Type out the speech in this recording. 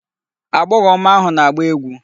Agbọghọ ọma ahụ na-agba egwu.